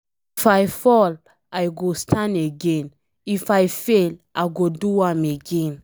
If I fall, I go stand again. If I fail, I go do am again.